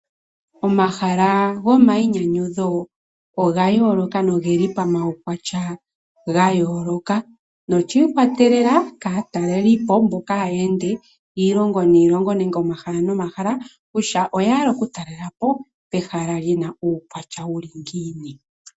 Omahala gomainyanyudho oga yooloka nogeli pamaukwatya ga yooloka noshiikwatelela kaatalelipo mboka haya ende iilongo niilongo nenge omahala nomahala kutya oya hala oku talelapo ehala lina uukwatya uli ngiini.